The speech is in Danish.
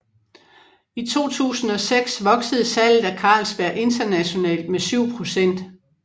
I 2006 voksede salget af Carlsberg internationalt med 7 pct